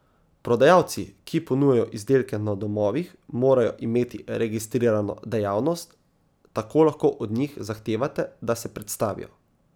Prodajalci, ki ponujajo izdelke na domovih, morajo imeti registrirano dejavnost, tako lahko od njih zahtevate, da se predstavijo.